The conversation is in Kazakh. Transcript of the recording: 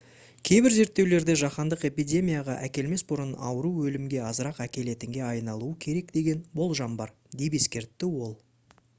кейбір зерттеулерде жаһандық эпидемияға әкелмес бұрын ауру өлімге азырақ әкелетінге айналуы керек деген болжам бар деп ескертті ол